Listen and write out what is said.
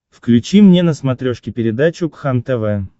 включи мне на смотрешке передачу кхлм тв